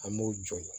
An b'o jɔ